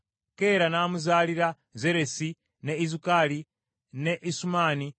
Keera n’amuzaalira Zeresi, ne Izukali, ne Esumani